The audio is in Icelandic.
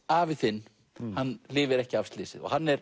afi þinn lifir ekki af slysið og hann er